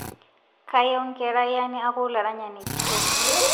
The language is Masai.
Kayieu nkerayia neaku laranyani kitok